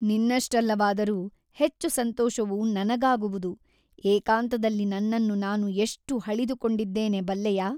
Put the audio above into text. ನಿನ್ನಷ್ಟಲ್ಲವಾದರೂ ಹೆಚ್ಚು ಸಂತೋಷವು ನನಗಾಗುವುದು ಏಕಾಂತದಲ್ಲಿ ನನ್ನನ್ನು ನಾನು ಎಷ್ಟು ಹಳಿದುಕೊಂಡಿದ್ದೇನೆ ಬಲ್ಲೆಯಾ?